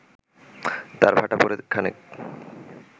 তাঁর ভাটা পড়ে খানেক